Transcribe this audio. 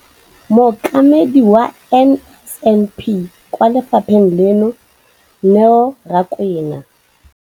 Mokaedi wa NSNP kwa lefapheng leno, Neo Rakwena,